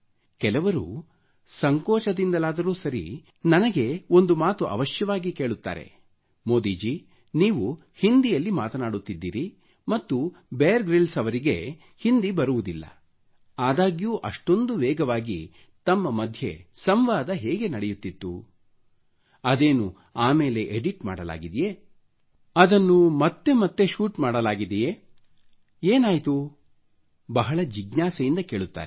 ಕೆಲವರು ಸಂಕೋಚದಿಂದಾದರೂ ಸರಿ ನನಗೆ ಒಂದು ಮಾತು ಅವಶ್ಯವಾಗಿ ಕೇಳುತ್ತಾರೆ ಮೋದಿಜಿ ನೀವು ಹಿಂದಿಯಲ್ಲಿ ಮಾತನಾಡುತ್ತಿದ್ದಿರಿ ಮತ್ತು ಬಿಯರ್ ಗ್ರಿಲ್ಸ್ ಅವರಿಗೆ ಹಿಂದಿ ಬರುವುದಿಲ್ಲ ಆದಾಗ್ಯೂ ಇಷ್ಟೊಂದು ವೇಗವಾಗಿ ತಮ್ಮ ಮಧ್ಯೆ ಸಂವಾದ ಹೇಗೆ ನಡೆಯುತ್ತಿತ್ತು ಅದೇನು ಆ ಮೇಲೆ ಎಡಿಟ್ ಮಾಡಲಾಗಿದೆಯೇ ಅದು ಅಷ್ಟೊಂದು ಮತ್ತೆ ಮತ್ತೆ ಶೂಟಿಂಗ್ ಮಾಡಲಾಗಿದೆಯೆ ಏನಾಯ್ತು ಬಹಳ ಜಿಜ್ಞಾಸೆಯಿಂದ ಕೇಳುತ್ತಾರೆ